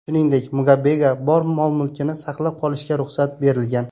Shuningdek, Mugabega bor mol-mulkini saqlab qolishga ruxsat berilgan.